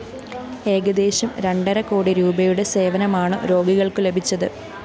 ഏകദേശം രണ്ടര കോടി രൂപയുടെ സേവനമാണു രോഗികള്‍ക്കു ലഭിച്ചത്